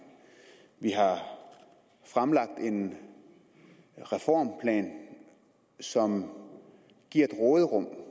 vi har fremlagt en reformplan som giver et råderum